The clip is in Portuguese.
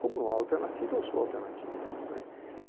Como não há alternativa, eu sou a alternativa.